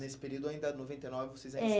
Nesse período ainda, noventa e nove, vocês ainda... É